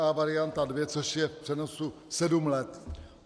A varianta 2, což je v přenosu sedm let.